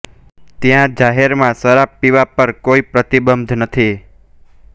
ત્યાં જાહેરમાં શરાબ પીવા પર કોઇ પ્રતિબંધ નથી